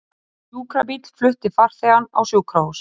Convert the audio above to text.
Sjúkrabíll flutti farþegann á sjúkrahús